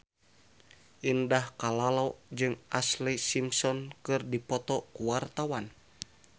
Indah Kalalo jeung Ashlee Simpson keur dipoto ku wartawan